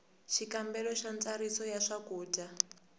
xikombelo xa ntsariso ya swakudya